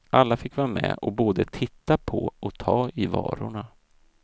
Alla fick vara med och både titta på och ta i varorna.